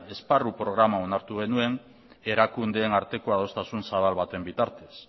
esparru programa onartu genuen erakundeen arteko adostasun zabal baten bitartez